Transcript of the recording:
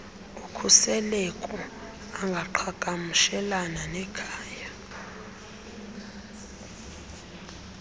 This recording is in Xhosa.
ukhuseleko angaqhagamshelana nekhaya